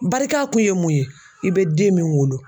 Barika kun ye mun ye ? I bɛ den min wolo .